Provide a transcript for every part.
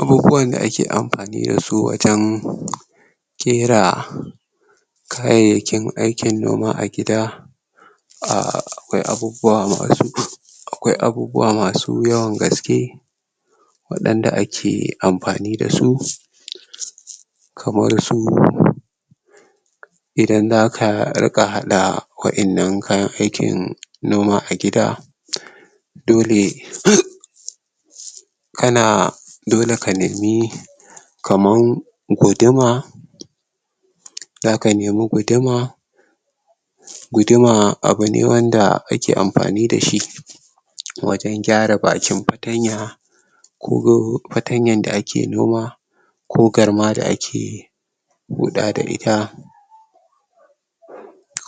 Abubuwan da a ke amfani da su a can ƙera kayakin aikin noma a gida a akwai abubuwa masu akwai abubuwa masu yawan gaske wadanda a ke amfani da su kamar su idan za ka rika hadda waƴennan kayan aikin noma a gida dole ka na, dole ka nemi kamar guduma za ka nemi guduma guduma, abu ne wanda ake amfani da shi wajen gyara bakin patanya ko patanya da a ke noma ko garma da ake buɗa da ita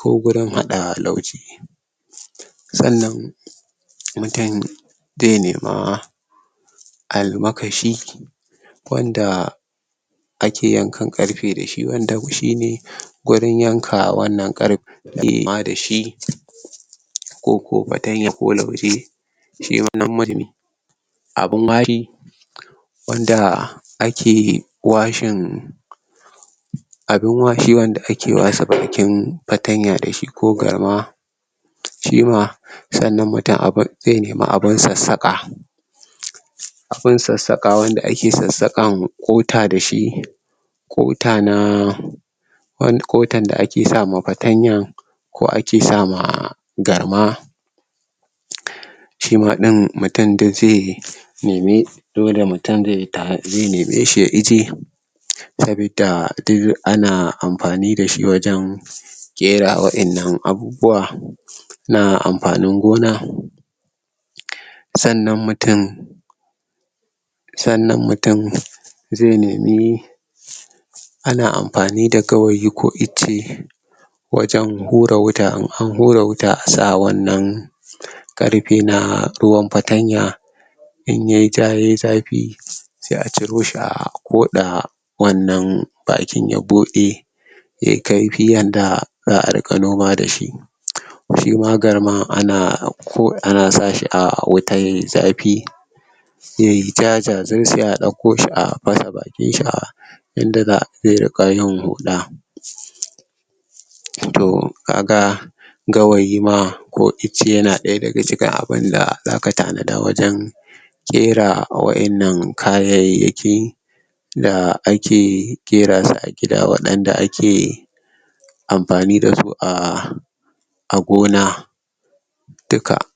ko gurin hadda lauje tsannan mutum zai nema almakashi wanda a ke yankan karfe da shi wanda shi ne gurin yanka wannan karfe imma dashi ko ko patanya ko lauje shi wannan marmi abun mari wanda a ke washin abin washewan da a ke washe bakin patanya da shi ko garma shi ma, tsannan mutum a bar zai nema abunsa saƙa abun tsatsaƙawan da a ke tsatsaƙka wa ƙota da shi ƙota na wan ƙotan da a ke sa ma patanya ko a ke sama garma shi ma din, mutum dai zai yi nemi, dole mutum zai yi zai nemi shi ya ije sabida duk a na amfani dashi wajen gera waƴennan abubuwa na amfanin gona tsannan mutum tsannan mutum zai nemi a na amfani da gawayi ko icce wajen hurra wuta, in an hurra wuta, a sa wannan karfe na ruwan patanya in yayi ja yayi zafi sai a ciro shi a ƙoda wannan bakin ya buɗe ya yi karfi yanda za'a rika noma da shi shi ma garman a na ko a na sa shi a wuta yayi zafi yayi ja jajir sai a dauko shi a pasa bakin shi a inda za'a pera kayan hula toh ka ga gawayi ma ko icce ya na daya da ga cikin abunda za ka tana da wajen ƙera a waƴennan kaya yi ya ke yi da a ke ƙera su a gida, waɗan da a ke amfani da su a a gona dukka